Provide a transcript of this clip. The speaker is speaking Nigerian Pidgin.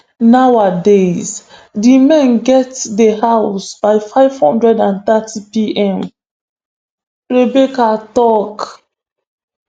nowadays di men gatz dey house by five hundred and thirty pm rebecca tok